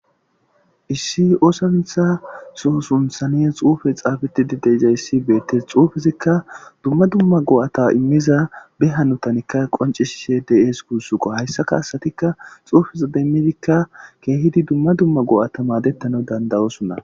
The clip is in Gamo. Issi oosatha soo sunthanes xuufe xaafetidi de izayssi beettes xuufizikka dumma dumma go7ata immiza be hanotanikka qoncishise deyees guussuqo hayssaka asatikka xuufiza demmidikka keehidi dumma dumma go7ata maadettana dandayosunna